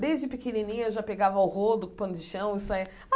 Desde pequenininha eu já pegava o rodo com pano de chão e saía.